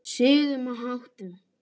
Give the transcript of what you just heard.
Siðum og háttum.